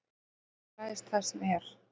Hann fjarlægist það sem er.